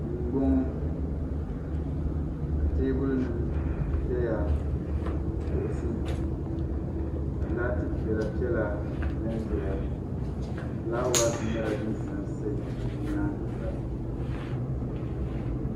Duu m-bɔŋɔ ka teebulinima ʒeya ni kuɣisi ka laati piɛlapiɛla zanzaya ka fulawaasi nyɛla din sa n-sa di nyaaga sa